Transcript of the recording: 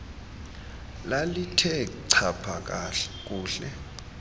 lalithe chapha kuhle